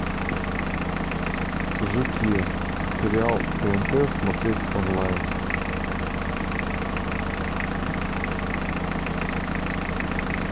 жуки сериал тнт смотреть онлайн